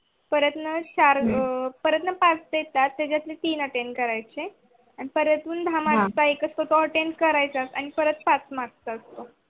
परत न चार अं परत न पाच देतात त्याच्यातून तीन attend करायचे. परेतून दहा markattend करायचाच आणि परत पाच mark चो असतो.